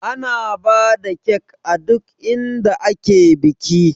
Ana bada kek a duk inda ake biki